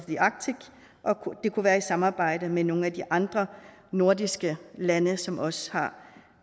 det kunne være i samarbejde med nogle af de andre nordiske lande som også